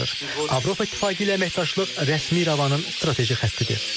Avropa İttifaqı ilə əməkdaşlıq rəsmi İrəvanın strateji xəttidir.